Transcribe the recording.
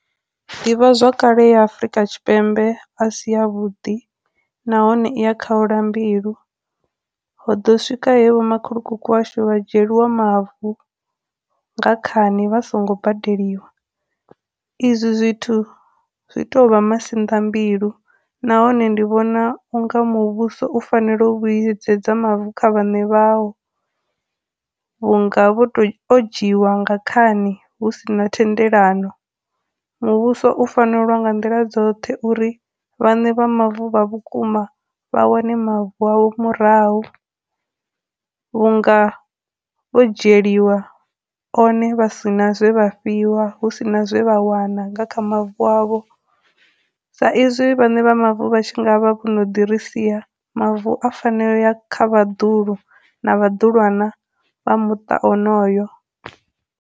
Ḓivhazwakale ya Afurika Tshipembe a si a vhuḓi nahone i ya khaula mbilu, ho ḓo swika he vho makhulukuku washu vha dzhieliwa mavu nga khani vha songo badeliwa, izwi zwithu zwi tou vha masinḓa mbilu, nahone ndi vhona u nga muvhuso u fanela u vhuyedzedza mavu kha vhaṋe vhao vhunga vho to, o dzhiiwa nga khani hu si na thendelano. Muvhuso u fanela u lwa nga nḓila dzoṱhe uri vhaṋe vha mavu vha vhukuma vha wane mavu avho murahu vhunga vho dzhieliwa one vha sina zwe vha fhiwa, hu sina zwe vha wana nga kha mavu avho, sa izwi vhaṋe vha mavu vha tshi nga vha vho no ḓi ri sia, mavu a fanela u ya kha vhaḓuhulu na vhaḓulwana vha muṱa onoyo.